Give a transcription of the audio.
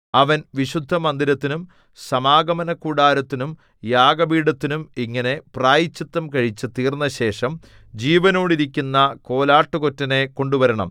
അവൻ വിശുദ്ധമന്ദിരത്തിനും സമാഗമനകൂടാരത്തിനും യാഗപീഠത്തിനും ഇങ്ങനെ പ്രായശ്ചിത്തം കഴിച്ചു തീർന്നശേഷം ജീവനോടിരിക്കുന്ന കോലാട്ടുകൊറ്റനെ കൊണ്ടുവരണം